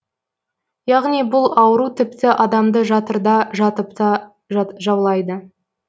яғни бұл ауру тіпті адамды жатырда жатыпта жаулайды